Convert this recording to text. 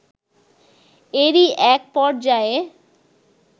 এরই এক পর্যায়ে